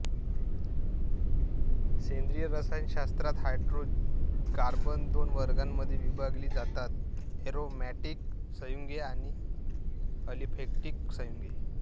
सेंद्रीय रसायनशास्त्रात हायड्रोकार्बन दोन वर्गांमध्ये विभागली जातातः ऍरोमॅटिक संयुगे आणि अलिफटीक संयुगे